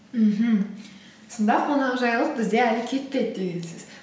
мхм сонда қонақжайлылық бізде әлі кетпеді деген сөз